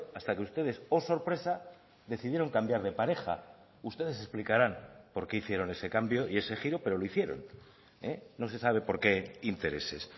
hasta que ustedes oh sorpresa decidieron cambiar de pareja ustedes explicarán por qué hicieron ese cambio y ese giro pero lo hicieron no se sabe por qué intereses